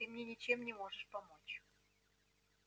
ты мне ничем не можешь помочь